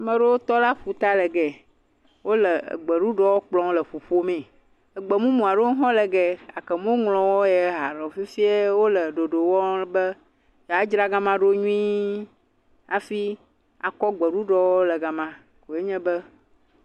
Ame aɖewo tɔ ɖe aƒuta le geya. Wo le gbeɖuɖɔ kplɔm le ƒuƒomee. Egbemumu aɖewo hã le geya gake womeŋlɔwo hã aɖe o. Fifia wo le ɖoɖo wɔm be yewoadzra ga ma ɖo nyui hafi kɔ gbeɖuɖɔwo le ga ma. Wo nye be..